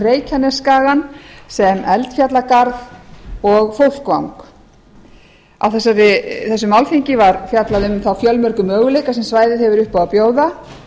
reykjanesskagann sem eldfjallagarð og fólkvang á þessu málþingi var fjallað um þá fjölmörgu möguleika sem svæðið hefur upp á að bjóða